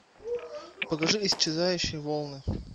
покажи исчезающие волны